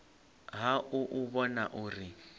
ha u u vhona uri